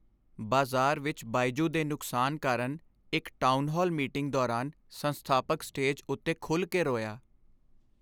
ਬਾਜ਼ਾਰ ਵਿੱਚ ਬਾਇਜੂ ਦੇ ਨੁਕਸਾਨ ਕਾਰਨ ਇੱਕ ਟਾਊਨਹਾਲ ਮੀਟਿੰਗ ਦੌਰਾਨ ਸੰਸਥਾਪਕ ਸਟੇਜ ਉੱਤੇ ਖੁੱਲ੍ਹ ਕੇ ਰੋਇਆ।